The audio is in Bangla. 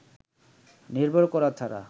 নির্ভর করা ছাড়া